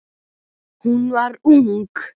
Hún var ung.